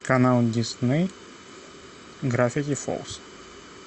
канал дисней гравити фолз